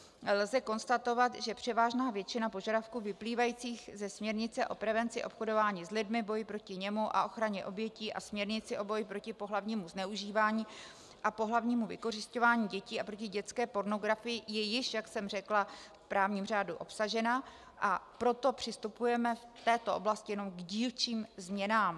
Lze konstatovat, že převážná většina požadavků vyplývajících ze směrnice o prevenci obchodování s lidmi, boji proti němu a ochraně obětí a směrnice o boji proti pohlavnímu zneužívání a pohlavnímu vykořisťování dětí a proti dětské pornografii je již, jak jsem řekla, v právním řádu obsažena, a proto přistupujeme v této oblasti jenom k dílčím změnám.